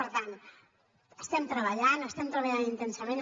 per tant estem treballant estem treballant intensament